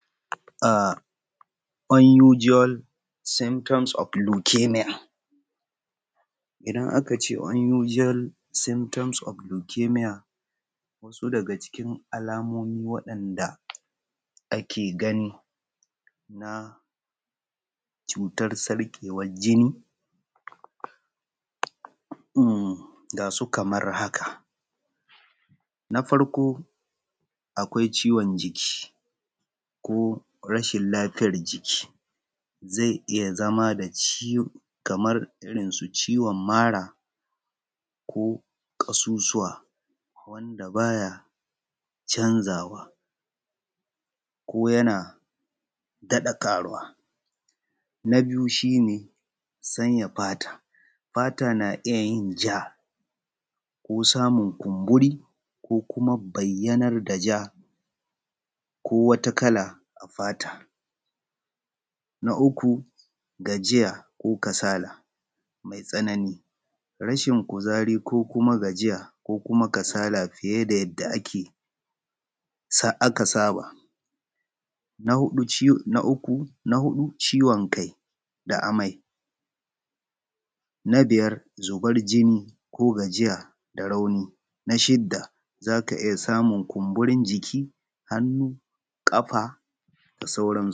Unusual symptoms of lucamia, idan aka ce Unusual symptoms of lucamia daga cikin alamomin wanda ake gani na sarƙewar jini ga su kamar haka. Na farko akwai ciwon jiki ko rashin lafiyar jiki zai iya zama kamar ciwon mara ko ƙasusuwa wanda ba ya canzawa ko yan daɗa karuwa. Na biyu shi ne sanya fata. Fatan na iya yin ja ko kuma kumburi ko bayyanar da ja ko wata kala a fata. Na uku gajiya ko kasala mai tsanani na rashin kuzari ko kuma gajiya ko kuma kasala fiye da yadda aka saba. Na huɗu ciwon kai da amai. Na biyar zubar jini ko gajiya da rauni. Na shida za ka iya samun kunburin jiki hannu kafa da sauran.